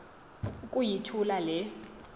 uku yithula le